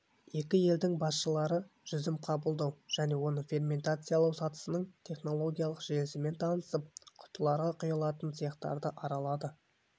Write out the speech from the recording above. екі елдің басшылары жүзім қабылдау және оны ферментациялау сатысының технологиялық желісімен танысып құтыларға құйылатын цехтарды аралады